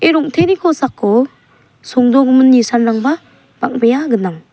ia rong·teni kosako songdogimin nisanrangba bang·bea gnang.